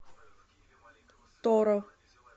торо